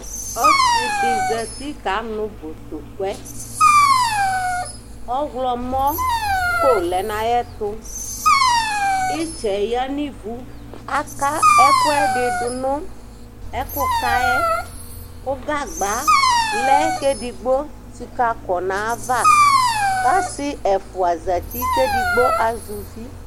Ɔsɩ dɩ zati kanʋ botɔkuɛ Ɔɣlɔmɔko lɛ nʋ ayɛtʋ Ɩtsɛ yǝ nʋ ivu Aka ɛkʋɛdɩ dʋ nʋ ɛkʋka yɛ, kʋ gagba lɛ kʋ edigbo tsikǝkɔ nʋ ayava Kʋ ɔsɩ ɛfʋa zati kʋ edigbo azɛ uvi